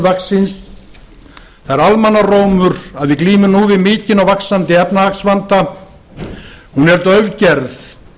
vaxin það er almannarómur að við glímum nú við mikinn og vaxandi efnahagsvanda hún er daufgerð